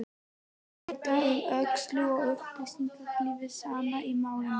Leit um öxl og upplýsti hið sanna í málinu: